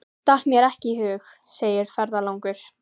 Slær sér á lær yfir gleymskunni.